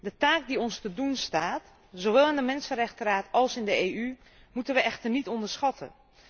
De taak die ons te doen staat zowel in de Mensenrechtenraad als in de EU, moeten we echter niet onderschatten.